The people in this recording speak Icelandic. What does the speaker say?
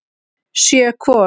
Sjö hvor.